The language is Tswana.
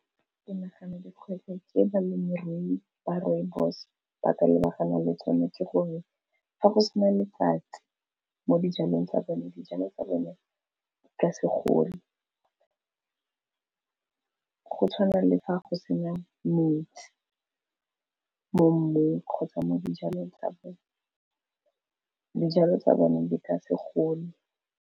Ke nagana di kgwetlho tse balemirui ba Rooibos ba ka lebaganang le tsone ke gore fa go sena letsatsi mo di jalong tsa bone, di jalo tsa bone ka segole. Go tshwana le fa go sena metsi, mo mmung kgotsa mo di jalong tsa bone, di jalo tsa bone di ka segole.